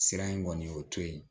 Sira in kɔni o to ye